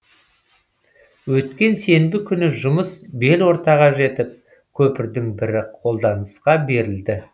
өткен сенбі күні жұмыс бел ортаға жетіп көпірдің бірі қолданысқа берілді